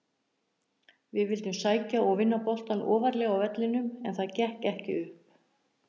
Við vildum sækja og vinna boltann ofarlega á vellinum en það gekk ekki upp.